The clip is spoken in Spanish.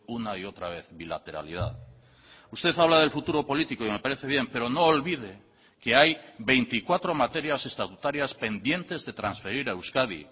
una y otra vez bilateralidad usted habla del futuro político y me parece bien pero no olvide que hay veinticuatro materias estatutarias pendientes de transferir a euskadi